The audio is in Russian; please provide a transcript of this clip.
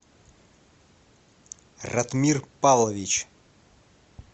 ратмир павлович